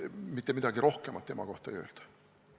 Mitte midagi rohkemat tema kohta ei öelda.